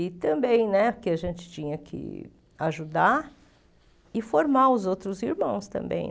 E também, porque a gente tinha que ajudar e formar os outros irmãos também.